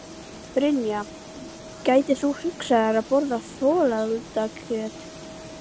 Brynja: Gætir þú hugsað þér að borða folaldakjöt?